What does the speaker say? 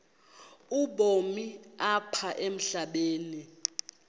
ubomi apha emhlabeni